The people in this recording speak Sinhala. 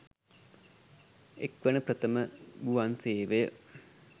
එක්වන ප්‍රථම ගුවන්සේවය